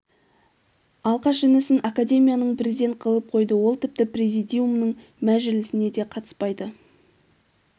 алқаш інісін академияның президент қылып қойды ол тіпті президиумның мәжілісіне де қатыспайды